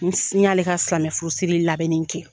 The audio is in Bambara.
n sanni i ka silamɛfurusi labɛn kɛ